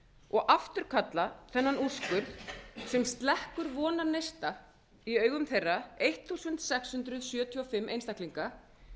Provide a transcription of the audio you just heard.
og afturkalla þennan úrskurð sem slekkur vonarneista í augum þeirra sextán hundruð sjötíu og fimm einstaklinga